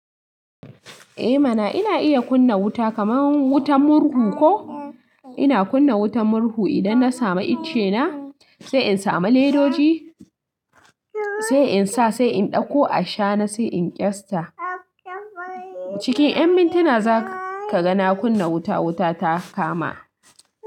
Eh mana ina iya kunna wuta kamar wutan murhu ko ina kunna wutan murhu idan na samu icce na sai in samu ledoji sai in sa sai in dauko ashana sai in kyasta. Cikin ƴan mintuna za ka ga na kunna wuta wuta ta kama.